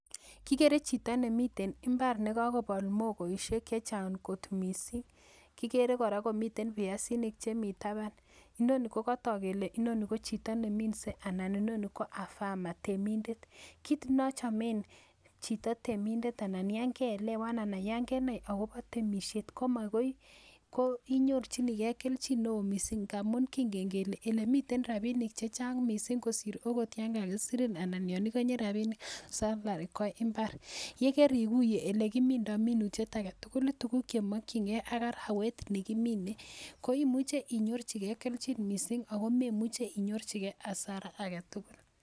Kikere chito nemiten imbar nekokobol mogoishek chechang ngot missing' kikere koraa komiten biasinik chemi taban inoni kokotok kele inoni kochito neminsee anan inoni ko a farmer anan kochito temindet kit nochomen chito temindet anan yon keelewan anan yon kenai akobo temishet komokoi, inyorjinigee keljin neo missing' ngamun kingen kele elemiten rabishek chechang missing' kosir okot yon kakisirin anan yon igonye rabinik , yekerikuye elekimindo minutiet aketugul ii tuguk chemokyingee ak arawet nekimine koimuche inyorjigee keljin neo missing' ako memuche inyorjigee hasara aketugul.